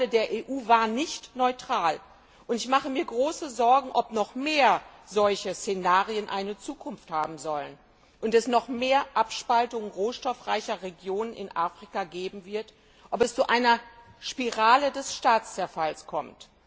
Die Rolle der EU war nicht neutral. Ich mache mir große Sorgen, ob noch mehr solche Szenarien eine Zukunft haben sollen und es noch mehr Abspaltungen rohstoffreicher Regionen in Afrika geben wird, ob es zu einer Spirale des Staatszerfalls kommt.